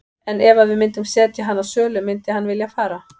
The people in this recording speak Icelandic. En ef að við myndum setja hann á sölu myndi hann vilja fara?